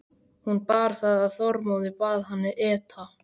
Hún bar það að Þormóði, bað hann eta.